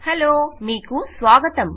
hello మీకు స్వాగతం